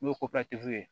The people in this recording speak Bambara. N'o ye ye